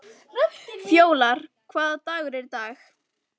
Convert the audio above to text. Fjólar, hvaða dagur er í dag?